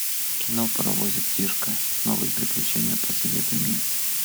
кино паровозик тишка новые приключения посоветуй мне